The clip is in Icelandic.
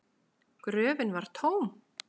Gröfin var tóm!